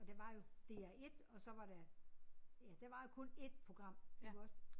Og der var jo DR1 og så var der ja der var kun ét program iggås